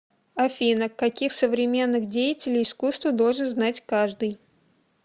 афина каких современных деятелей искусства должен знать каждый